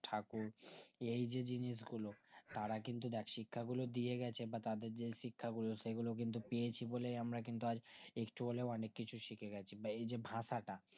ঠাকুর এই যে জিনিস গুলো তারা কিন্তু দেখ শিক্ষা গুলো দিয়ে গেছে বা তাদের যেই শিক্ষাগুলো সেগুলো কিন্তু পেয়েছি বলেই আমরা কিন্তু আজ একটু হলেও অনিক কিছু শিখেগেছি বা এইযে ভাষাটা